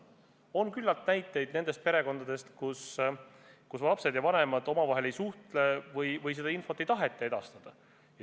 On küllalt näiteid perekondadest, kus lapsed ja vanemad omavahel ei suhtle või seda infot ei taheta edastada.